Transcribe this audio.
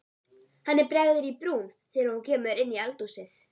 Henni bregður í brún þegar hún kemur inn í eldhúsið.